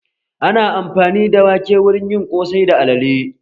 Ana amfani da wake wurin yin ƙosai da alale